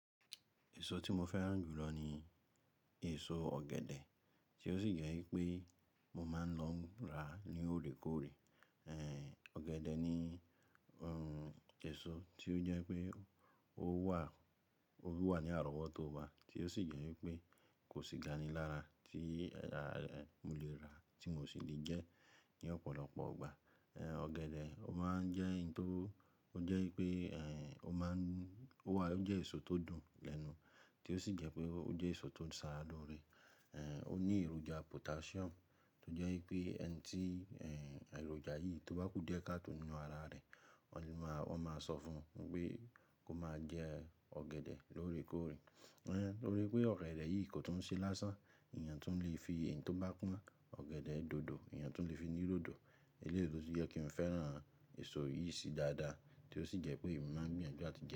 Èso tí mo fẹ́ràn jù lọ ni èso ọ̀gẹ̀dẹ̀, tí ó sì jẹ́ wípé mo máa ń lọ ra ní òrékóòrè. Ẹ̀, ọ̀gẹ̀dẹ̀ ni, ẹ́, èso tí ó jẹ́ pé ó wà, ó wà ní àrọ́wọ́tó wa, tí ó sì jẹ́ í pé kò sí gani lára tí, ẹ́, mo lè rà tí mo sì lè jẹ́ ní ọ̀pọ̀lọpọ̀ ọgbà. Ẹ̀, ọ̀gẹ̀dẹ̀, ó máa ń jẹ́ n tó, ó jẹ́ pé, ẹ́, ó máa ń, ó wà, ó jẹ́ èso tó dùn lẹ́nu tí ó sì jẹ́ pé ó jẹ́ èso tó ń sara lóore. Ẹ̀, ó ní èròjà potassium tó jẹ́ í pé ẹni tí, ẹ́, èròjà yìí tó bá kú díẹ̀ káàtò nínú ara rẹ̀, wọ́n máa, wọ́n máa sọ fún pé kó máa jẹ ọ̀gẹ̀dẹ̀ lóòrèkóòrè. Ẹ́, lórí pé ọ̀gẹ̀dẹ̀ yìí kò tún ṣe lásán, èèyàn tún le fi èyí tó bá pọ́n ọ̀gẹ̀dẹ̀ dòdò, èèyàn tún le fi dín dòdò. Eléyìí lo tún jẹ́ kí n fẹ́ràn èso yìí sí dáadáa tí ó sì jẹ́ pé èmi máa ń gbìyànjú láti jẹ ẹ́